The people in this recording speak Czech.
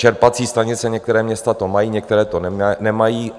Čerpací stanice - některá města to mají, některá to nemají.